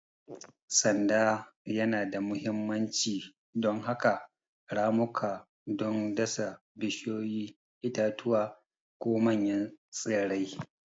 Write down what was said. Sanda yana da mahimmanci don haƙa ramuka don dasa bishiyoyi, itatuwa, ko manyan tsirrai.